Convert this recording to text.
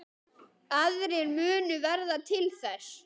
Aðrir munu verða til þess.